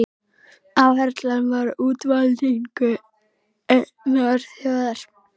Áherslan var á útvalningu einnar þjóðar.